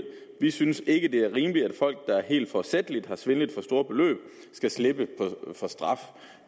vi synes ikke det er rimeligt at folk der helt forsætligt har svindlet for store beløb skal slippe for straf